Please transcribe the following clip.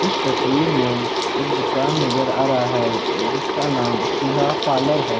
इस तस्वीर में एक दुकान नजर आ रहा है जिसका नाम सुधा पार्लर है।